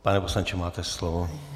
Pane poslanče, máte slovo.